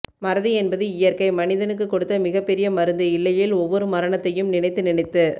மறதி என்பது இயற்கை மனிதனுக்கு கொடுத்த மிகப் பெரும் மருந்து இல்லையேல் ஒவ்வொரு மரணத்தையும் நினைத்து நினைத்து